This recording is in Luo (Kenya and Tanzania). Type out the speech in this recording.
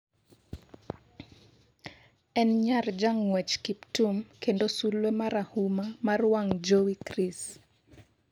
en nyar jang'wech Kiptum kendo sulwe marahuma mar wang' jowi Kris